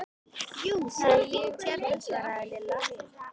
Jú, það er fínt hérna svaraði Lilla.